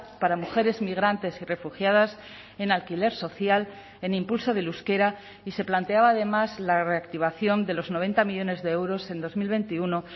para mujeres migrantes y refugiadas en alquiler social en impulso del euskera y se planteaba además la reactivación de los noventa millónes de euros en dos mil veintiuno